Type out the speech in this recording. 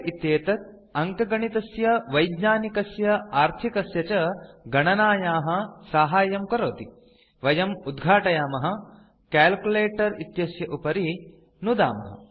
calculator इत्येतत् अङ्कगणितस्य वैज्ञानिकस्य आर्थिकस्य च गणनायाः साहाय्यं करोति वयम् उद्घाटयामः कैल्कुलेटर इत्यस्य उपरि नुदामः